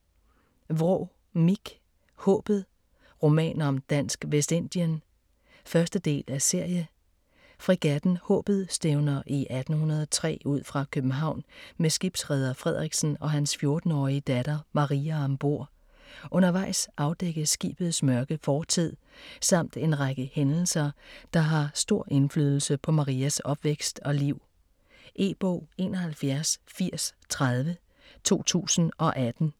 Vraa, Mich: Haabet: roman om Dansk Vestindien 1. del af serie. Fregatten Haabet stævner i 1803 ud fra København med skibsreder Frederiksen og hans 14-årige datter Maria om bord. Undervejs afdækkes skibets mørke fortid, samt en række hændelser der har stor indflydelse på Marias opvækst og liv. E-bog 718030 2018.